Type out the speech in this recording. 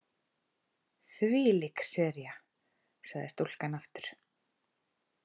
Þvílík sería sagði stúlkan aftur.